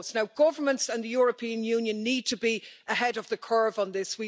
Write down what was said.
Now governments and the European Union need to be ahead of the curve on this.